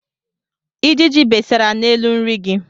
Ijiji besara n'elu nri gị.